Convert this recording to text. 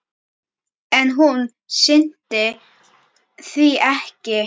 En hún sinnti því ekki.